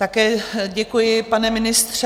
Také děkuji, pane ministře.